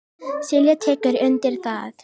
Silja tekur undir það.